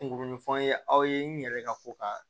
Kunkolo ni fɛnw ye aw ye n yɛrɛ ka ko ka